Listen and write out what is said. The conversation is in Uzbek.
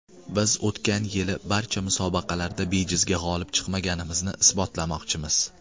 Biz o‘tgan yili barcha musobaqalarda bejizga g‘olib chiqmaganimizni isbotlamoqchimiz.